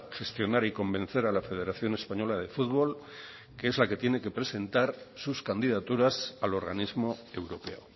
gestionar y convencer a la federación española de futbol que es la que tiene que presentar sus candidaturas al organismo europeo